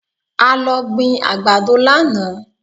A lọ gbin àgbàdo lánàá